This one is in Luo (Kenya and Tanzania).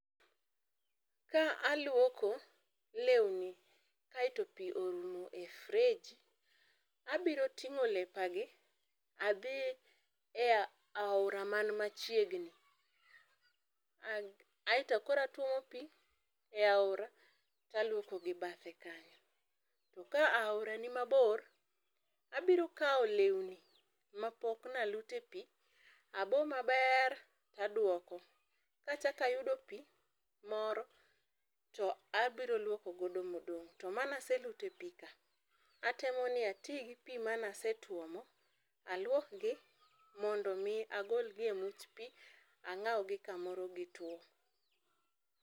Ka aluoko lewni kaeto pi orumo e fereji, abiro ting'o lepagi, adhi e aora man machiegni, aeto koro atuomo pii e aora taluoko gi bathe kanyo. To ka aora ni mabor, abiro kawo lewni mapok ne aluto epi, abo maber taduoko. Kachakayudo pi moro to abiro luoko godo modong', to mane aseluto epika ,atemo ni ati gi pi mane asetuomo, aluokgi mondo mi agolgi emuch pii ang'awgi kamoro gituo.